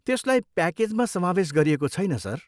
त्यसलाई प्याकेजमा समावेस गरिएको छैन, सर।